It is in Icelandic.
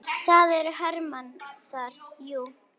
Það eru hermenn þar, jú.